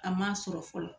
A ma sɔrɔ fɔlɔ